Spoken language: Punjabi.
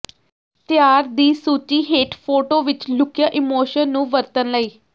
ਤਿਆਰ ਦੀ ਸੂਚੀ ਹੇਠ ਫੋਟੋ ਵਿੱਚ ਲੁਕਿਆ ਇਮੋਸ਼ਨ ਨੂੰ ਵਰਤਣ ਲਈ